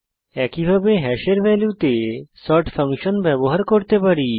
একইভাবে হ্যাশের ভ্যালুতে সর্ট ফাংশন ব্যবহার করতে পারি